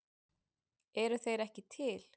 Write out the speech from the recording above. Eru þeir ekki til?